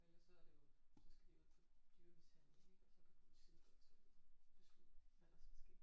Og ellers så er det jo så skal de ud til dyremishandling ik og så kan politiet godt beslutte hvad der skal ske